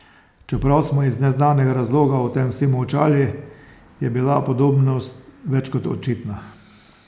Čeprav smo iz neznanega razloga o tem vsi molčali, je bila podobnost več kot očitna.